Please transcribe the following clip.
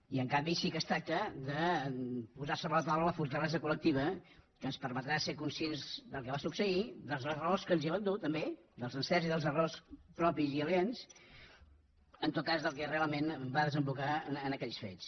i en canvi sí que es tracta de posar sobre la taula la fortalesa col·lectiva que ens permetrà ser conscients del que va succeir de les raons que ens hi van dur també dels encerts i dels errors propis i aliens en tot cas del que realment va desembocar en aquells fets